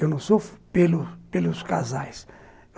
Eu não sofro pelos pelos casais.